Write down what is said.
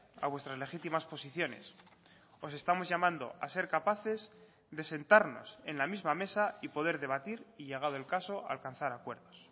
a vuestras legitimas posiciones os estamos llamando a ser capaces de sentarnos en la misma mesa y poder debatir y llegado el caso a alcanzar acuerdos